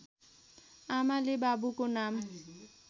आमाले बाबुको नाम